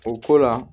O ko la